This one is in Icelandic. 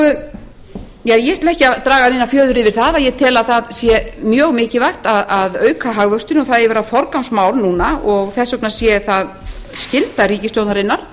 ég ætla ekki að draga neina fjöður yfir það að ég tel að það sé mjög mikilvægt að auka hagvöxtinn og það eigi að vera forgangsmál núna og þess vegna sé það skylda ríkisstjórnarinnar